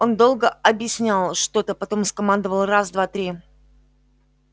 он долго объяснял что-то потом скомандовал раз два три